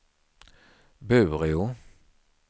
Bureå